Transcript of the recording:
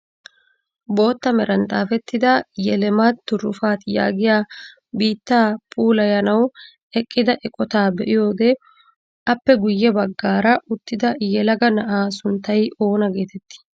Bootta meran xaafettida "YELEMAT TIRUFAT" yaagiyaa biittaa puulayayanawu eqqida eqotaa be'iyoode appe guye baggaara uttida yelaga na'aa sunttay oona getettii?